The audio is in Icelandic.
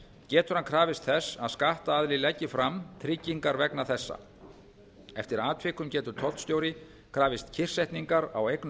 getur hann krafist þess að skattaðili leggi fram tryggingar vegna þessa eftir atvikum getur tollstjóri krafist kyrrsetningar á eignum